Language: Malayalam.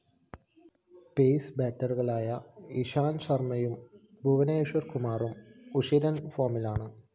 പേസ്‌ ബാറ്ററികളായ ഇഷാന്ത് ശര്‍മ്മയും ഭുവനേശ്വര്‍ കുമാറും ഉശിരന്‍ ഫോമിലാണ്